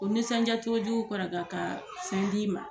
o misɔnjacogo jugu ka fɛn d'i ma.